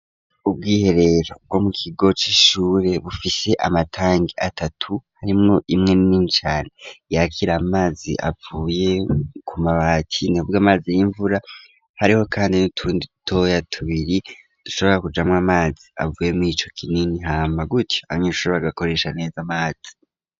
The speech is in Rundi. Ubwiherero bwo mu kigo c'ishure bufise amatangi atatu, harimwo imwe nini cane yakira amazi avuye ku mabati, nihubwo amazi y'imvura hariho kandi n'utundi dutoya tubiri dushobora kujamwo amazi avuye mur, ico kinini, hama gutyo abanyeshuri bagakoresha neza amazi.